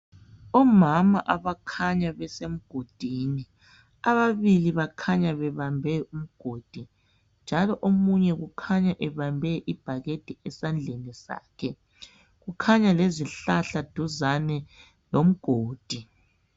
Omama abakhanya besemgodini. Ababili bakhanya bebambe umgodi, njalo omunye ukhanya ebambe ibhakede, esandleni sakhe.. Kukhanya lezihlahla, eduzane lomgodi.